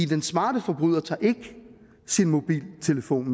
den smarte forbryder tager ikke sin mobiltelefon